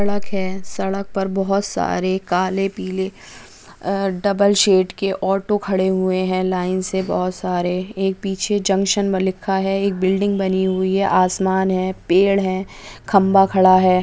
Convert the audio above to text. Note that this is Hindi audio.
सड़क है सड़क पर बहुत सारे काले पीले अ डबल शेड के ऑटो खड़े हुए हैं लाइन से बहुत सारे | एक पीछे जंक्शन में लिखा है एक बिल्डिंग बनी हुई है आसमान है पेड़ है खम्बा खड़ा है।